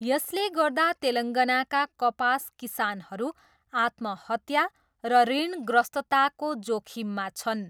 यसले गर्दा तेलङ्गानाका कपास किसानहरू आत्महत्या र ऋणग्रस्तताको जोखिममा छन्।